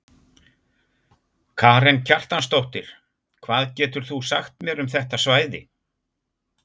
Karen Kjartansdóttir: Hvað getur þú sagt mér um þetta svæði?